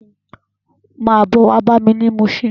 Má bò wá bámi ni Mushin